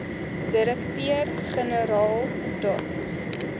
direkteur generaal dot